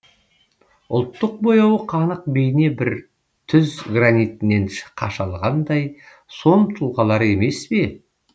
ұлттық бояуы қанық бейне бір түз гранитінен қашалғандай сом тұлғалар емес пе